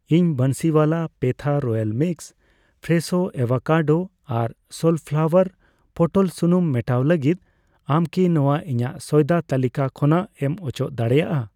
ᱤᱧ Bansiwala petha royal mix, Fresho avocado ᱟᱨ sunflower ᱯᱚᱴᱚᱞ ᱥᱩᱱᱩᱢ ᱢᱮᱴᱟᱣ ᱞᱟᱹᱜᱤᱫ, ᱟᱢ ᱠᱤ ᱱᱚᱣᱟ ᱤᱧᱟᱜ ᱥᱚᱭᱫᱟ ᱛᱟᱹᱞᱤᱠᱟ ᱠᱷᱚᱱᱟᱜ ᱮᱢ ᱚᱪᱚᱜ ᱫᱟᱲᱮᱭᱟᱜᱼᱟ ?